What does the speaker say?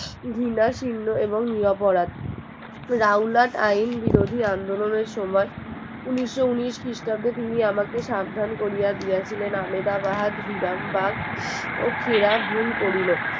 বিনাশিন্য এবং নিরপরাধ রাউলাত আইন বিরোধী আন্দোলনের সময় উনিশশো উনিশ খ্রিস্টাব্দে তিনি আমাকে সাবধান করিয়া দিয়াছিলেন আহমেদ আবাদ কিধাম বাদ ও খিরাহুল করিল